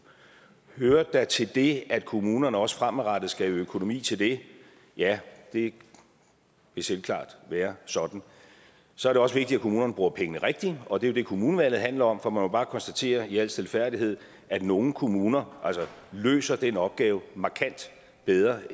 hører det da med til det at kommunerne også fremadrettet skal have økonomi til det ja det vil selvklart være sådan så er det også vigtigt at kommunerne bruger pengene rigtigt og det er jo det kommunevalget handler om for man må jo bare konstatere i al stilfærdighed at nogle kommuner løser den opgave markant bedre